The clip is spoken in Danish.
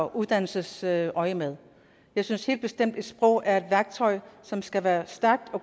uddannelsesøjemed jeg synes helt bestemt at et sprog er et værktøj som skal være stærkt